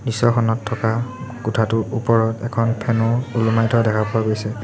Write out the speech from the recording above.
দৃশ্যখনত থকা কোঠাটোৰ ওপৰত এখন ফেন ও ওলোমাই থোৱা দেখা পোৱা গৈছে।